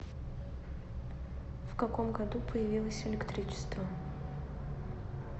в каком году появилось электричество